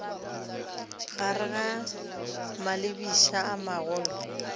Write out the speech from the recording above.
gare ga malebiša a magolo